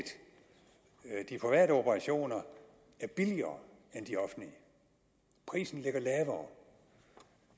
er at de private operationer er billigere end de offentlige priserne ligger lavere